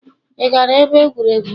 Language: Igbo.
Ị gara ebe egwuregwu?.